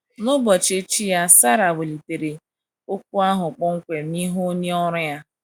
N’ụbochi echi ya Sara welitere okwu ahụ kpọmkwem n’ihu onye ọrụ ya.